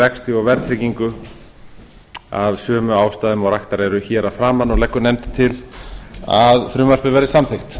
vexti og verðtryggingu af sömu ástæðum og raktar eru hér að framan nefndin leggur til að frumvarpið verði samþykkt